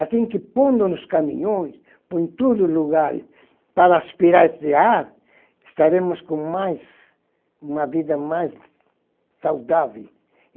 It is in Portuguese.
Assim que pondo nos caminhões, poẽm em todos os lugares, para aspirar esse ar, estaremos com mais, uma vida mais saudável.